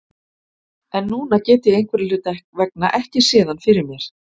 En núna get ég einhverra hluta vegna ekki séð hann fyrir mér.